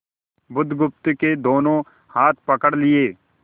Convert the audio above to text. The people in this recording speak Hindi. बुधगुप्त के दोनों हाथ पकड़ लिए